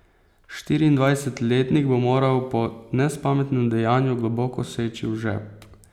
Štiriindvajsetletnik bo moral po nespametnem dejanju globoko seči v žep.